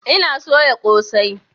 Ina soya ƙosai